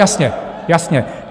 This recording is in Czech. Jasně, jasně.